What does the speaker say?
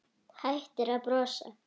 Hættir að brosa.